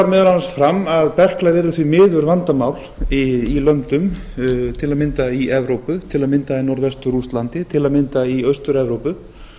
meðal annars fram að berklar eru því miður vandamál í löndum til að mynda í evrópu til að mynda í norðvestur rússlandi til að mynda í austur evrópu